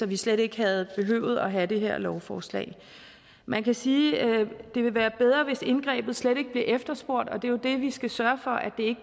vi slet ikke havde behøvet at have det her lovforslag man kan sige at det ville være bedre hvis indgrebet slet ikke blev efterspurgt og det er jo det vi skal sørge for at det